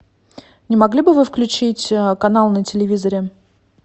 не могли бы вы включить канал на телевизоре